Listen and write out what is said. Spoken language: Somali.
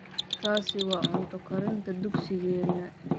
taasi waa cunto karinta dugsigeena